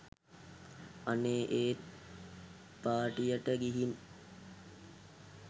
අනේ ඒත් පාටියට ගිහින්